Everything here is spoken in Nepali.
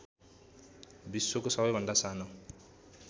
विश्वको सबैभन्दा सानो